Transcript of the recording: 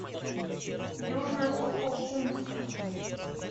южно сухокумска